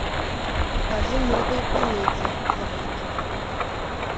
покажи новые комедии новинки